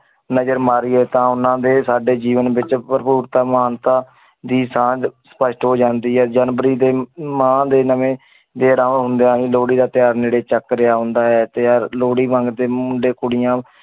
ਨਜ਼ਰ ਮਾਰੀਏ ਤਾਂ ਉਹਨਾਂ ਦੇ ਸਾਡੇ ਜੀਵਨ ਵਿੱਚ ਭਰਪੂਰਤਾ ਮਹਾਨਤਾ ਦੀ ਸਾਂਝ ਸਪਸ਼ਟ ਹੋ ਜਾਂਦੀ ਹੈ ਜਨਵਰੀ ਦੇ ਮਾਂਹ ਦੇ ਨਵੇਂ ਲੋਹੜੀ ਦਾ ਤਿਉਹਾਰ ਨੇੜੇ ਚੱਕ ਰਿਹਾ ਹੁੰਦਾ ਹੈ ਲੋਹੜੀ ਮੰਗਦੇ ਮੁੰਡੇ ਕੁੜੀਆਂ